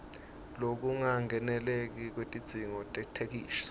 lokungakeneli kwetidzingo tetheksthi